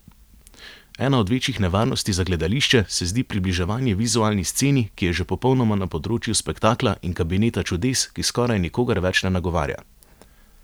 Ena od večjih nevarnosti za gledališče se zdi približevanje vizualni sceni, ki je že popolnoma na področju spektakla in kabineta čudes, ki skoraj nikogar več ne nagovarja.